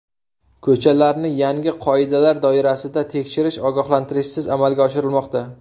Ko‘chalarni yangi qoidalar doirasida tekshirish ogohlantirishsiz amalga oshirilmoqda.